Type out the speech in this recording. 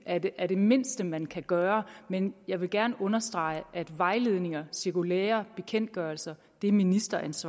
er det er det mindste man kan gøre men jeg vil gerne understrege at vejledninger cirkulærer bekendtgørelser er ministerens